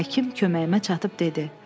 Həkim köməyimə çatıb dedi.